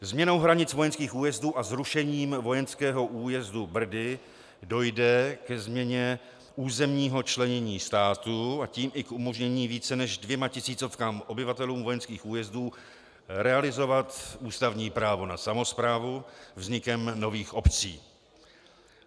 Změnou hranic vojenských újezdů a zrušením vojenského újezdu Brdy dojde ke změně územního členění státu, a tím i k umožnění více než dvěma tisícovkám obyvatelům vojenských újezdů realizovat ústavní právo na samosprávu vznikem nových obcí.